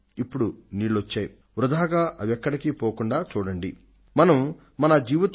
అయితే ఇప్పుడు మనకు వాన నీరు సమృద్ధిగా అందనుంది కాబట్టి ఆ నీరు వృథాగా పారకుండా మనం చూసుకోవాలి